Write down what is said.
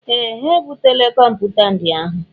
Ee! Ha ebutela kọmpụta ndị ahụ.